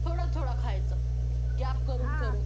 थोडं थोडं खायचं gap करून करून.